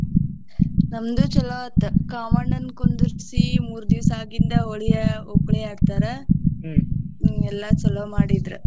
ನಮ್ದು ಚೊಲೋ ಆತ ಕಾಮಣ್ಣನ ಕುಂದರ್ಸಿ ಮೂರ ದಿವಸ ಆಗಿಂದ ಹೋಳಿ ಆ ಓಕುಳಿ ಆಡ್ತಾರ ಎಲ್ಲಾ ಚೊಲೋ ಮಾಡಿದ್ರ.